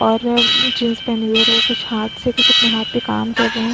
और जीन्स पहनी हुई है और कुछ हाथ से कुछ अपने हाथ पे काम कर रहे है।